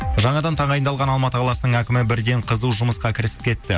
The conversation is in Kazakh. жаңадан тағайындалған алматы қаласының әкімі бірден қызу жұмысқа кірісіп кетті